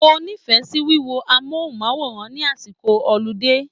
Mo nífẹ̀ẹ́ sí wíwo amóhùnmáwòrán ní àsìkò ọlidé.